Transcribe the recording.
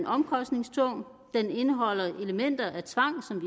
omkostningstung den indeholder elementer af tvang som